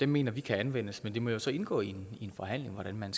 mener vi kan anvendes men det må jo så indgå i en forhandling hvordan man